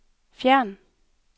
fjern